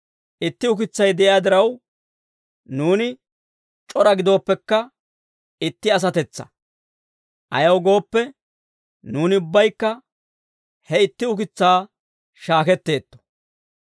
Itti ukitsay de'iyaa diraw, nuuni c'ora gidooppekka, itti asatetsaa. Ayaw gooppe, nuuni ubbaykka he itti ukitsaa shaaketteetto.